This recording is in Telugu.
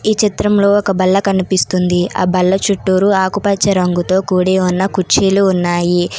ఈ చిత్రంలో ఒక బల్ల కనిపిస్తుంది. ఆ బల్ల చుట్టూరు ఆకుపచ్చ రంగుతో కూడి ఉన్న కుర్చీలు ఉన్నాయి.